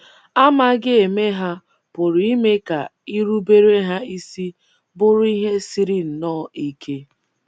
Amaghị eme ha pụrụ ime ka irubere ha isi bụrụ ihe siri nnọọ ike.